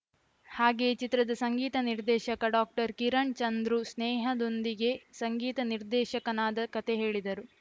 ಹಾಗೆಯೇ ಚಿತ್ರದ ಸಂಗೀತ ನಿರ್ದೇಶಕ ಡಾಕ್ಟರ್ ಕಿರಣ್‌ ಚಂದ್ರು ಸ್ನೇಹದೊಂದಿಗೆ ಸಂಗೀತ ನಿರ್ದೇಶಕನಾದ ಕತೆ ಹೇಳಿದರು